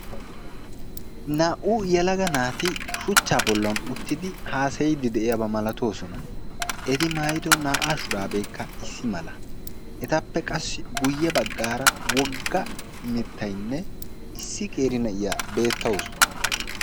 Naa'u yeelaga naati shuucha bollan uttidi haasayidi de'iyaba maalatosona. Etappe qassi guuyebaggara issi qeeri naa'iyaa beetawusu.